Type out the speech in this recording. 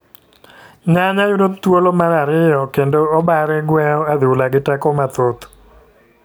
Nyanya yudo thuolo mar ariyo kendo Obare gweyo adhula gi teko mathoth,